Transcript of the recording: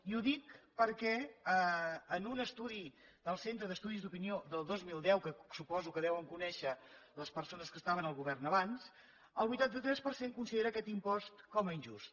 i ho dic perquè en un estudi del centre d’estudis d’opinió del dos mil deu que suposo que deuen conèixer les persones que estaven al govern abans el vuitanta tres per cent considera aquest impost com a injust